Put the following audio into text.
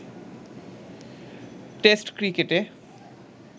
test ক্রিকেটে